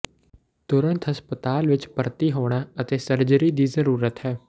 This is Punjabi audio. ਤੁਰੰਤ ਹਸਪਤਾਲ ਵਿਚ ਭਰਤੀ ਹੋਣਾ ਅਤੇ ਸਰਜਰੀ ਦੀ ਜ਼ਰੂਰਤ ਹੈ